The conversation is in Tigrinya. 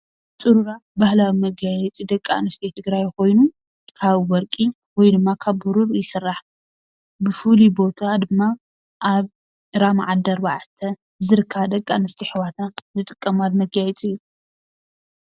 ፅሩራ ባህላዊ ወገያየፂ ደቂ ኣንስትዮ ትግራይ ኮይኑ ካብ ወርቂ ወይ ድማ ካብ ብሩር ይስራሕ። ብፍሉይ ቦታ ድማ ኣብ ራማ ዓዲ ኣርባዕተ ዝርከባ ደቂኣንስትዮ ኣሕዋትና ዝጥቀማሉ መጋየፂ እዩ።